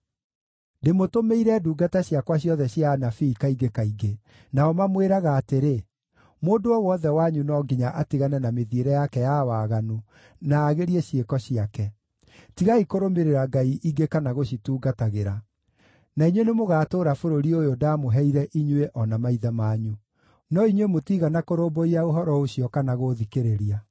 Ndĩmũtũmĩire ndungata ciakwa ciothe cia anabii kaingĩ kaingĩ. Nao mamwĩraga atĩrĩ, “Mũndũ o wothe wanyu no nginya atigane na mĩthiĩre yake ya waganu na aagĩrie ciĩko ciake; tigai kũrũmĩrĩra ngai ingĩ kana gũcitungatagĩra. Na inyuĩ nĩmũgatũũra bũrũri ũyũ ndaamũheire inyuĩ o na maithe manyu.” No inyuĩ mũtiigana kũrũmbũiya ũhoro ũcio kana gũũthikĩrĩria.